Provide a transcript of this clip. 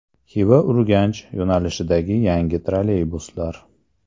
Xiva-Urganch yo‘nalishidagi yangi trolleybuslar.